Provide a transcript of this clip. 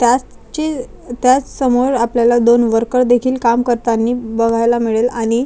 त्याचे त्याच समोर आपल्याला दोन वर्कर देखील काम करतानी बघायला मिळेल आणि--